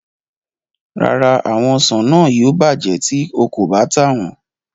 Rárá, àwọn ọsàn náà yóò bàjẹ́ tí o kò bá tà wọn.